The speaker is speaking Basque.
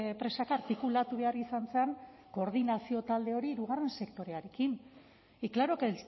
presaka artikulatu behar izan zen koordinazio talde hori hirugarren sektorearekin y claro que